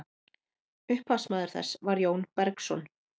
upphafsmaður þess var jón bergsson